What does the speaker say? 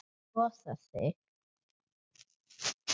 Losar sig.